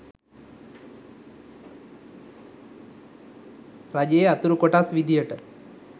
රජයේ අතුරු කොටස් විදියට